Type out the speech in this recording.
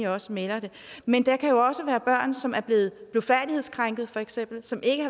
også melder det men der kan jo også være børn som er blevet blufærdighedskrænket for eksempel som ikke